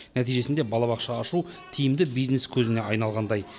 нәтижесінде балабақша ашу тиімді бизнес көзіне айналғандай